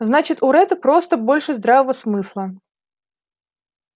значит у ретта просто больше здравого смысла